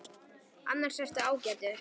Annars ertu ágætur.